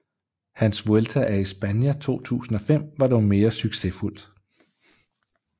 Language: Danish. Hans Vuelta a España 2005 var dog mere succesfuldt